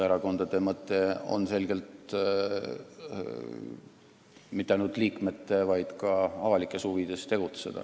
Erakondade mõte on selgelt tegutseda mitte ainult liikmete, vaid ka avalikes huvides.